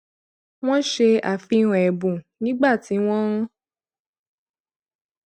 wọn ṣe àfihàn ẹbùn nígbà tí wọn ń